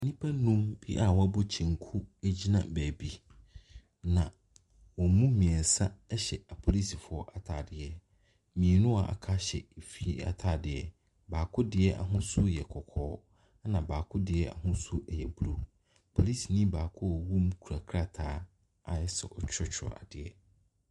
Nnipa num bi a wɔabɔ kyenku gyina baabi, na wɔn mu mmeɛnsa hyɛ apolisifoɔ atadeɛ. Mmienu a wɔaka hyɛ efeie atadeɛ. Baako deɛ ahosuo yɛ kɔkɔɔ, ɛna baako deɛ ahosuo yɛ blue. Polisini baako a ɔwɔ mu no kura krataa a ayɛ sɛ ɔretwerɛ adeɛ.